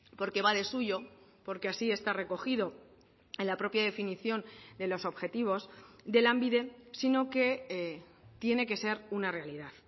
porque va de suyo porque así está recogido en la propia definición de los objetivos de lanbide sino que tiene que ser una realidad